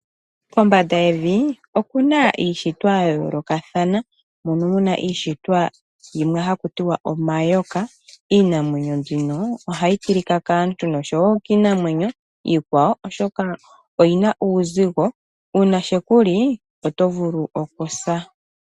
Kombanda yevi okuna iishitwa yayoolokathana , mono muna iishitwa yimwe haku tiwa omayoka . Iinamwenyo mbino ohayi tilika kaantu noshowoo kiinamwenyo iikwawo, oshoka oyina uuzigo . Uuna sheku li oto vulu okusa.